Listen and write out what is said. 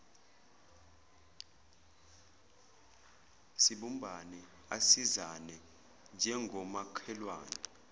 sibumbane asisizane njengomakhelwane